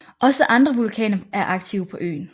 Også andre vulkaner er aktive på øen